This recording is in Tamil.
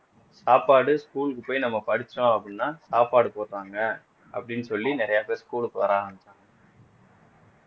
சாப்பாடு school க்கு போய் நம்ம படிச்சோம் அப்படின்னா சாப்பாடு போடறாங்க அப்படின்னு சொல்லி நிறைய பேர் school க்கு வர ஆரம்பிச்சாங்க